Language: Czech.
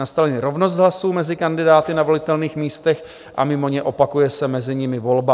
Nastane-li rovnost hlasů mezi kandidáty na volitelných místech a mimo ně, opakuje se mezi nimi volba.